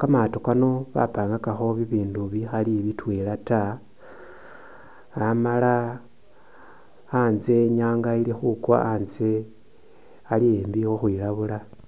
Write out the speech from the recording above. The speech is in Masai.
kamaato kano bapangakakho bibindu bikhali bitwela ta amala anzye i'nyaanga ili khukwa anzye ali embi khukhwilabula.